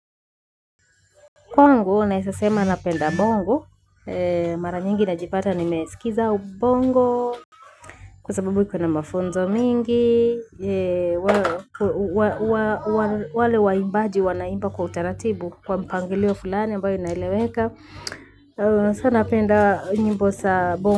Kwangu naweza sema napenda bongo. Mara nyingi najipata nimesikiza bongo kwa sababu iko na mafunzo mingi. Wale waimbaji wanaimba kwa utaratibu. Kwa mpangilio fulani mbayo inaileweka sasa napenda nyimbo za bongo.